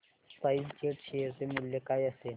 spice jet share चे मूल्य काय असेल